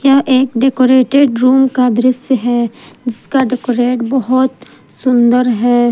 यह एक decorated room का दृश्य है जिसका डेकोरेट बहुत सुंदर है।